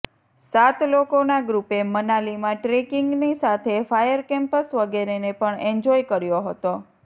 સાત લોકોના ગ્રૂપે મનાલીમાં ટ્રેકિંગની સાથે ફાયર કેમ્પસ વગેરેને પણ એન્જોય કર્યો હતો